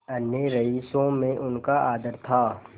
अन्य रईसों में उनका आदर था